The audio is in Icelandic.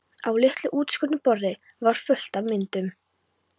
Á litlu útskornu borði var fullt af myndum.